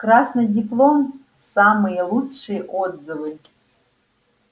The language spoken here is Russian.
красный диплом самые лучшие отзывы